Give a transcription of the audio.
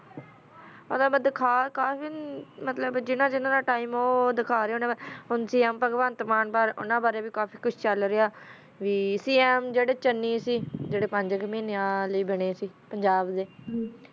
ਓਹੋ ਅਹਮਦ ਦਾਖਾ ਰਾਹ ਨਾ ਕਲ ਵੀ ਮਤਲਬ ਜਿਨਾ ਜਿਨਾ ਦਾ ਟੀਮੇ ਆ ਓਨਾ ਨੂ ਦਾਖਾ ਰਾਹ ਨਾ ਕੁ ਕੀ ਬਗ੍ਵੰਤ ਬਾਰਾ ਵੀ ਚਲ ਰਹਾ ਸੀ ਤਾ ਏਹਾ ਜਰਾ ਚਾਨੀ ਗੀ ਜਰਾ ਪੰਜ ਕੋ ਮੀਨਾ ਲੀ ਬਣਾ ਸੀ ਪੰਜਾਬ ਦਾ